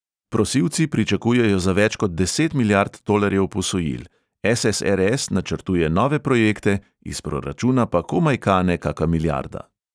Prosilci pričakujejo za več kot deset milijard tolarjev posojil, es|es|er|es načrtuje nove projekte, iz proračuna pa komaj kane kaka milijarda